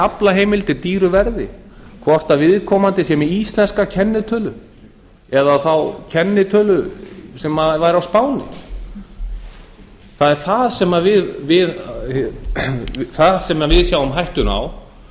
aflaheimildir dýru verði hvort viðkomandi er með íslenska kennitölu eða þá kennitölu sem væri á spáni það er þar sem við sjáum hættuna á